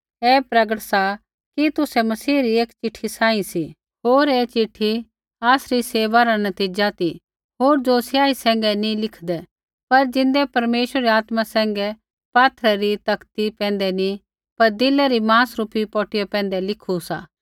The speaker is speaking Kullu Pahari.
ऐ प्रगट सा कि तुसै मसीही री एक चिट्ठी सांही सी होर ऐ चिट्ठी आसरी सेवा रा नतीज़ा ती होर ज़ो स्याही सैंघै नी लिखदे पर ज़िन्दै परमेश्वरै री आत्मा सैंघै पात्थरै री तख्ती पटिया पैंधै नी पर दिले री मांस रूपी पटिया पैंधै लिखु सा